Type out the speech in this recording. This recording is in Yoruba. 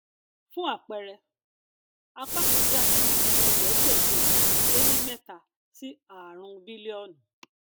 fún àpẹẹrẹ apá kan já sí ẹẹdẹgbẹjọ ọkẹ le ní mẹta sí ààrún bílíọnù